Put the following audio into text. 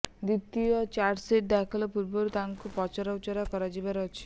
ଦ୍ୱିତୀୟ ଚାର୍ଜଶିଟ୍ ଦାଖଲ ପୂର୍ବରୁ ତାଙ୍କୁ ପୁଣି ପଚରାଉଚରା କରାଯିବାର ଅଛି